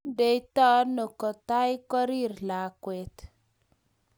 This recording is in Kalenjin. Kie ndetuno kotai korir lakwet